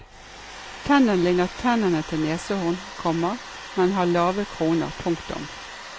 Tennene ligner tennene til neshorn, komma men har lave kroner. punktum